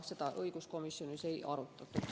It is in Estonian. Seda õiguskomisjonis ka ei arutatud.